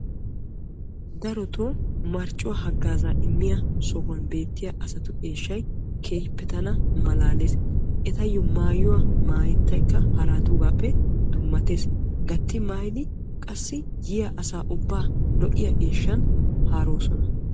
Darotto marccuwa hagaaza immiyo sohuwan de'iya asaa eeshshay malaallees. Etta maayuwa maashshayikka dummattees yaattiddi asaassi hagaaza immossonna.